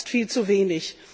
Das ist viel zu wenig.